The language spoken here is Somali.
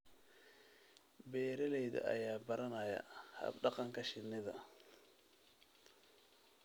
Beeralayda ayaa baranaya hab-dhaqanka shinnida.